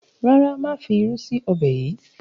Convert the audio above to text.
ràrá má fí ìrù sí Ọbẹ̀ yí.